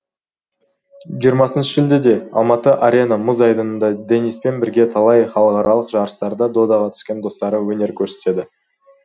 жиырмасыншы шілдеде алматы арена мұз айдынында дениспен бірге талай халықаралық жарыстарда додаға түскен достары өнер көрсетеді